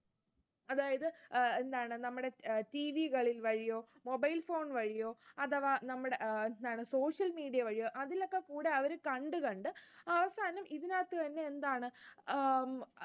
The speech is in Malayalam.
അതായത് അഹ് എന്താണ് നമ്മുടെ TV കളിൽ വഴിയോ, mobile phone വഴിയോ, അഥവാ നമ്മുടെ എന്താണ് social media വഴിയോ അതിലൊക്കെകൂടെ അവർ കണ്ട് കണ്ട് അവസാനം ഇതിനകത്തുതന്നെ എന്താണ് ഉം